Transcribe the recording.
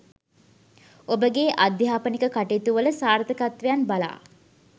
ඔබගේ අධ්‍යාපනික කටයුතුවල සාර්ථකත්වයන් බලා